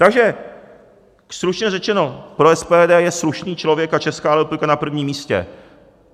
Takže stručně řečeno, pro SPD je slušný člověk a Česká republika na prvním místě.